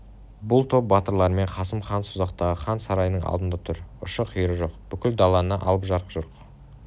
бір топ батырларымен қасым хан созақтағы хан сарайының алдында тұр ұшы-қиыры жоқ бүкіл даланы алып жарқ-жұрқ